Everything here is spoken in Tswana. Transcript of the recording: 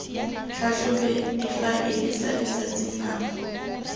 tlhatlhobe difaele tsa letsatsi nako